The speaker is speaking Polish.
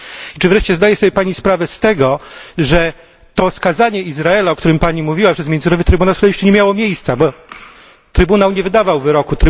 Czy wreszcie zdaje sobie pani sprawę z tego, że to skazanie Izraela, o którym pani mówiła, przez Międzynarodowy Trybunał Sprawiedliwości nie miało miejsca, bo Trybunał nie wydawał wyroku.